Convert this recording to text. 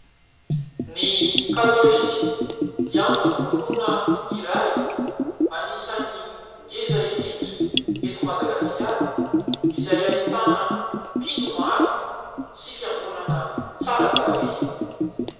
Ny katolika dia antokom-pinoana iray anisan'ny ngeza indrindra eto Madagasikara, izay ahitana mpino maro sy fiangonana tsara tarehy.